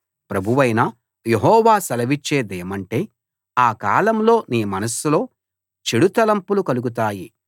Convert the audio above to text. ప్రభువైన యెహోవా సెలవిచ్చేదేమంటే ఆ కాలంలో నీ మనస్సులో చెడు తలంపులు కలుగుతాయి